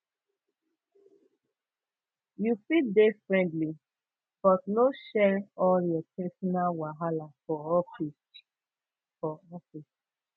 you fit dey friendly but no dey share all your personal wahala for office for office